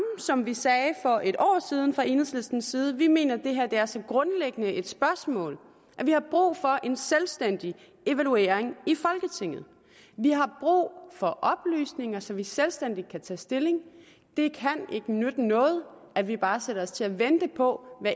som vi sagde for et år siden fra enhedslisten side vi mener at det her er så grundlæggende et spørgsmål at vi har brug for en selvstændig evaluering i folketinget vi har brug for oplysninger så vi selvstændigt kan tage stilling det kan ikke nytte noget at vi bare sætter os til at vente på